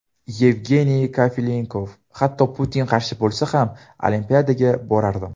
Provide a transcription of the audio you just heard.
Yevgeniy Kafelnikov: Hatto Putin qarshi bo‘lsa ham, Olimpiadaga borardim.